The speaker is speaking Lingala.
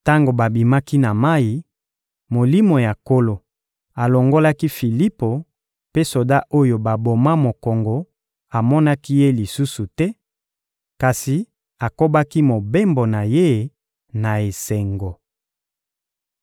Tango babimaki na mayi, Molimo ya Nkolo alongolaki Filipo, mpe soda oyo baboma mokongo amonaki ye lisusu te, kasi akobaki mobembo na ye na esengo.